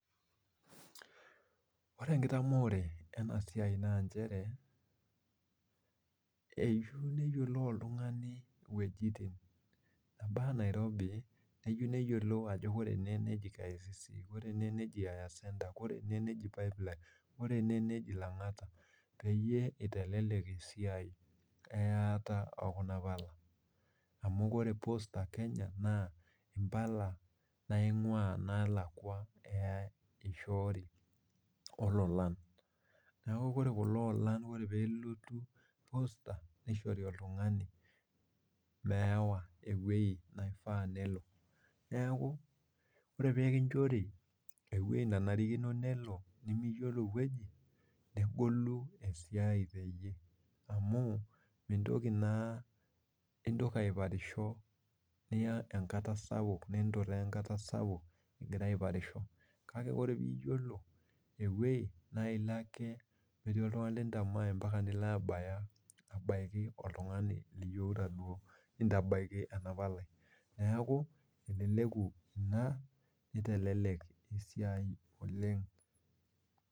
Ore enkitamoore ena toki naa eyeiu neyiolou oltungani wejitin mpaka nairobi ,keyieu neyiolou ajo ore ene keji Kicc ore ene nejia afya senta ore ene neji pipeline ore ene neji langata peyie eitelelek esiai eyaata ookuna pala ,amu ore poster kenya naa mpala eishooyo naingua nkwapi naalakwa eishoori ilolan ,neeku ore kulo olan ore pee elotu posta nishori oltungani meewa eweji neifaa pee elo ,neeku ore pee kinchori eweji naifaa nelo nimiyiolo eweji negolu esiai teeyie amu intoki naa aiparisho niya enkata sapuk ninturaa enkata sapuk ingira aiparisho, kake ore paa iyiolo eweji naa ilo ake metii oltungani lintamae mpaka nilo abaiki oltungani liyieuta duo aitabaiki ena palai neeku eleleku ina nitelelek ena siai oleng.